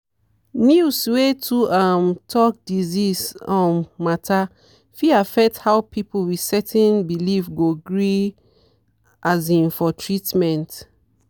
news wey too um talk disease um matter fit affect how people with certain belief go gree um for treatment.